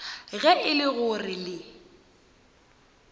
ge e le gore le